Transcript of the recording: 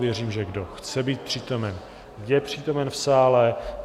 Věřím, že kdo chce být přítomen, je přítomen v sále.